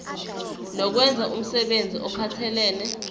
nokwenza umsebenzi ophathelene